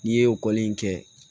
N'i ye o kɔli in kɛ